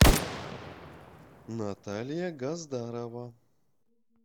наталья газдарова